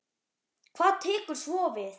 Hvað tekur svo við?